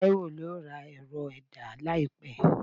Taiwo yóò ra erò- ẹda laípe